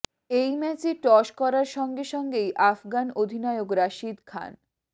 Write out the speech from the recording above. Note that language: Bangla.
এই ম্যাচে টস করার সঙ্গে সঙ্গেই আফগান অধিনায়ক রশিদ খান